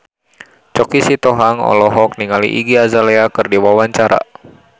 Choky Sitohang olohok ningali Iggy Azalea keur diwawancara